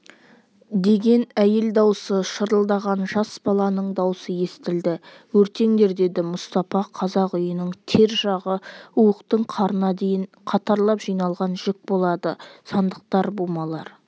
деген әйел дауысы шырылдаған жас баланың дауысы естілді өртеңдер деді мұстапа қазақ үйінің тер жағы уықтың қарына дейін қатарлап жиналған жүк болады сандықтар бумалар